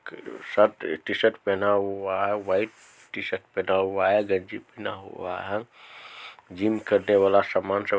shirt t-shirt पहना हुआ है व्हाइट टी-शर्ट पहना हुआ है गंजी पहना हुआ है जिम करने वाला सामान सब--